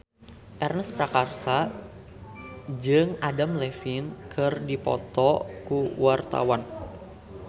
Ernest Prakasa jeung Adam Levine keur dipoto ku wartawan